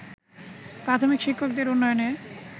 প্রাথমিক শিক্ষকদের উন্নয়নে